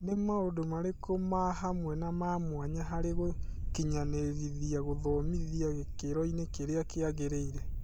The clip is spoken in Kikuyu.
Nĩ maũndũ marĩkũ mahamwe na mamwanya harĩ gũkinyanĩrithia gũthomithia gĩkĩroinĩ kĩrĩa kĩagĩrĩire ?